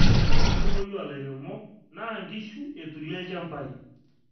ore enkumoi oo lairemok naa inkushu eturie ilchampai